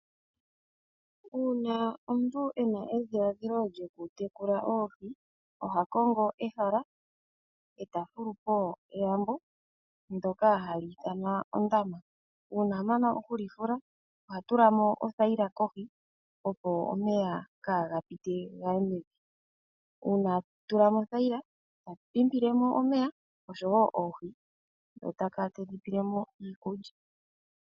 Uuna omuntu ena edhiladhilo lyokutekula oohi, oha kongo ehala eta fulupo elambo ndoka hali ithanwa ondama. Uuna amana okuli fula oha tulamo othayila kohi opo omeya kaa gapite gaye mevi, uuna a tulamo othayila ta pimpilemo omeya nosho woo oohi ndho takala tedhipelemo iikulya.